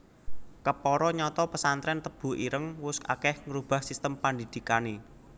Kepara nyata pesantrèn Tebu Ireng wus akèh ngrubah sistem pandhidhikané